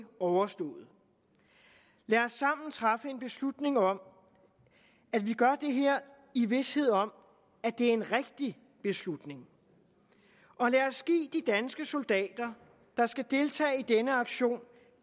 overstået lad os sammen træffe en beslutning om at vi gør det her i vished om at det er en rigtig beslutning og lad os give de danske soldater der skal deltage i denne aktion